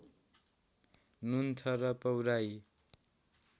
नुनथर र पौराही